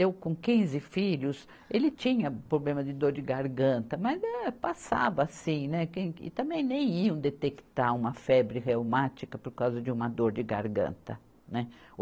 Eu com quinze filhos, ele tinha problema de dor de garganta, mas eh, passava assim, né, quem que, e também nem iam detectar uma febre reumática por causa de uma dor de garganta, né.